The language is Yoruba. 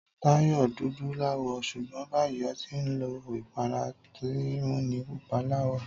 Táyò dúdú láwọ̀, ṣugbọn bayii ọtí nlo ìpara tin múni pupa láwọ̀